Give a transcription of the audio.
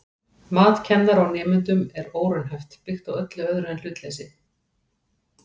Mat kennara á nemendum er óraunhæft, byggt á öllu öðru en hlutleysi.